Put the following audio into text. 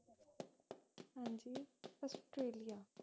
ਜੀ ਅਸਟਰੇਲੀਆ